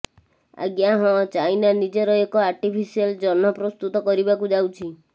ଆଜ୍ଞା ହଁ ଚାଇନା ନିଜର ଏକ ଆଟିଫିସିଆଲ ଜହ୍ନ ପ୍ରସ୍ତୁତ କରିବାକୁ ଯାଉଛି